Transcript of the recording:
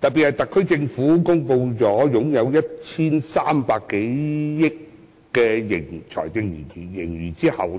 特別是當特區政府已公布擁有 1,300 多億元的財政盈餘，我